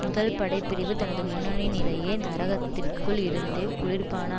முதல் படை பிரிவு தனது முன்னணி நிலையெ நகரத்திற்குள் இருந்தே குளிர்பான